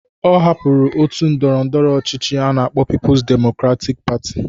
Ọ hapụrụ ndị otu ndọrọ ndọrọ ọchịchị a na-akpọ Pipus Demokratik Patị